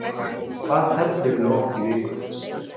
Jón: Hvað teflirðu oft í viku?